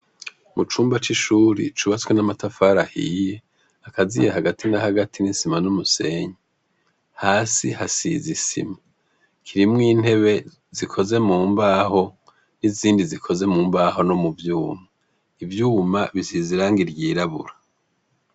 Mucumba c'ishure ryubatswe n'amatafari ahiye akaziye hagati na hagati n'isima n'umusenyi hasi hasize isima. Kirimwo intebe zikozwe mumbaho n'izindi zikoze mubaho no mu vyuma. Ivyuma bisize irangi ryirabura.